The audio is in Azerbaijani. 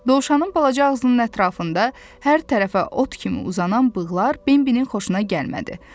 Dovşanın balaca ağzının ətrafında hər tərəfə ot kimi uzanan bığlar Bembinin xoşuna gəlmədi.